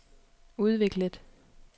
udviklet